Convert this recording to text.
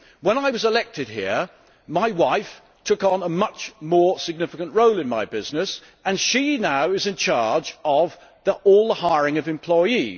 When I was elected here, my wife took on a much more significant role in my business, and she is now in charge of all the hiring of employees.